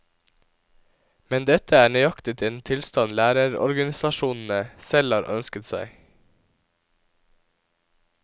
Men dette er nøyaktig den tilstand lærerorganisasjonene selv har ønsket seg.